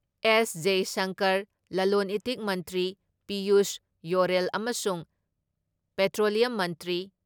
ꯑꯦꯁ.ꯖꯌꯁꯪꯀꯔ, ꯂꯂꯣꯟ ꯏꯇꯤꯛ ꯃꯟꯇ꯭ꯔꯤ ꯄꯤꯌꯨꯁ ꯌꯣꯔꯦꯜ ꯑꯃꯁꯨꯡ ꯄꯦꯇ꯭ꯔꯣꯂꯤꯌꯝ ꯃꯟꯇ꯭ꯔꯤ